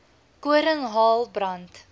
koring hael brand